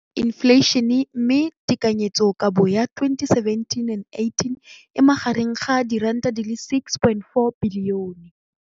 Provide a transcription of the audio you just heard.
Infleišene, mme tekanyetsokabo ya 2017, 18, e magareng ga R6.4 bilione.